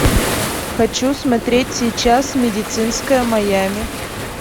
хочу смотреть сейчас медицинское майами